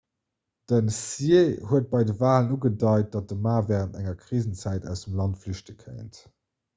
den hsieh huet bei de walen ugedeit datt de ma wärend enger krisenzäit aus dem land flüchte kéint